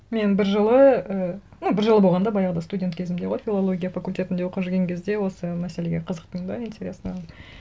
мен бір жылы і ну бір жылы болғанда баяғыда студент кезімде ғой филология факультетінде оқып жұрген кезде осы мәселеге қызықтым да интересно